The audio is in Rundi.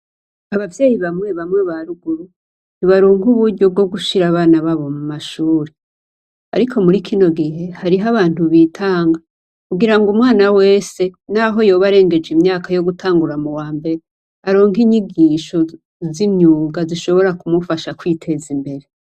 Abavyeyi bamwe bamwe ba ruguru ntibaronka uburyo bwo gushira abana babo mu mashure. Ariko muri kino gihe, hariho abantu bitanga kugirango umwana wese naho yoba arengeje imyaka yo gutangura mu wa mbere aronke inyigisho z'imyuga zishobora kumufasha kwiteza imbere.